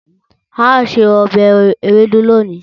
Ao se obe ewedu loni